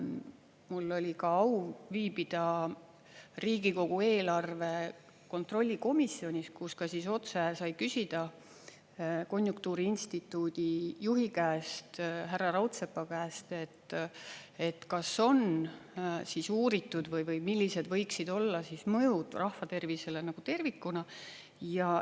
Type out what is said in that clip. Mul oli ka au viibida Riigikogu eelarve kontrolli komisjonis, kus ka otse sai küsida konjunktuuriinstituudi juhi käest, härra Raudsepa käest, kas on uuritud või millised võiksid olla mõjud rahva tervisele tervikuna.